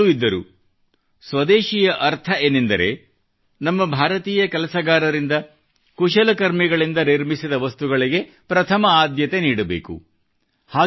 ಅವರು ಹೇಳುತ್ತಲೂ ಇದ್ದರು ಸ್ವದೇಶಿಯ ಅರ್ಥ ಏನೆಂದರೆ ನಮ್ಮ ಭಾರತೀಯ ಕೆಲಸಗಾರರಿಂದ ಕುಶಲಕರ್ಮಿಗಳಿಂದ ನಿರ್ಮಿಸಿದ ವಸ್ತುಗಳಿಗೆ ಪ್ರಥಮ ಆದ್ಯತೆ ನೀಡಬೇಕು